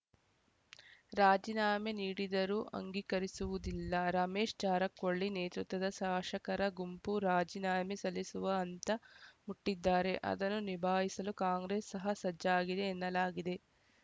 ರಾಜೀನಾಮೆ ನೀಡಿದರೂ ಅಂಗೀಕರಿಸುವುದಿಲ್ಲ ರಮೇಶ್‌ ಜಾರಕೊಲ್ಲಿ ನೇತೃತ್ವದ ಶಾಶಕರ ಗುಂಪು ರಾಜೀನಾಮೆ ಸಲ್ಲಿಸುವ ಹಂತ ಮುಟ್ಟಿದ್ದಾರೆ ಅದನ್ನು ನಿಭಾಯಿಸಲು ಕಾಂಗ್ರೆಸ್‌ ಸಹ ಸಜ್ಜಾಗಿದೆ ಎನ್ನಲಾಗಿದೆ